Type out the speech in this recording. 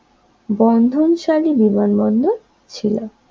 বন্ধনশালী বিমানবন্দর ছিল